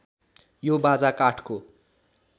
यो बाजा काठको